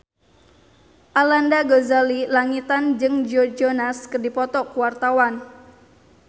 Arlanda Ghazali Langitan jeung Joe Jonas keur dipoto ku wartawan